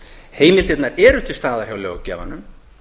heimildirnar eru til staðar hjá löggjafanum